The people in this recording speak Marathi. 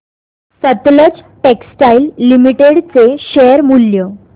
सतलज टेक्सटाइल्स लिमिटेड चे शेअर मूल्य